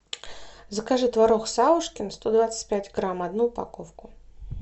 закажи творог савушкин сто двадцать пять грамм одну упаковку